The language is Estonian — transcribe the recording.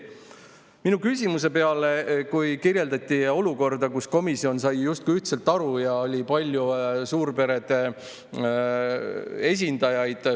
Mina küsimuse selle peale, kui kirjeldati olukorda, kus komisjon sai justkui ühtselt asjast aru, sest komisjonis oli palju suurperede esindajaid.